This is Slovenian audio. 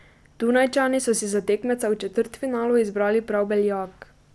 Dunajčani so si za tekmeca v četrtfinalu izbrali prav Beljak.